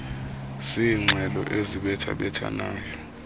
ziingxelo ezibetha bethanayo